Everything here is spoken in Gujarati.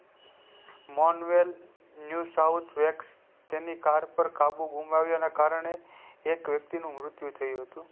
મોલ વેલ new south west તેની car પર કાબુ ગુમાયું એને કારણે એક વ્યક્તિ નું મુત્યુ થયું હતું